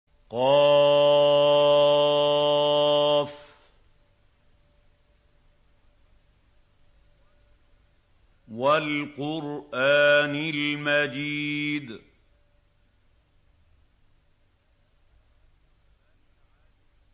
ق ۚ وَالْقُرْآنِ الْمَجِيدِ